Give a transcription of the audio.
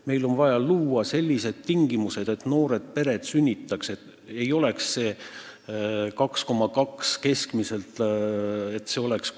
Meil on vaja luua sellised tingimused, et noored naised sünnitaks, et lapsi oleks keskmiselt isegi mitte 2,2, vaid lausa 3.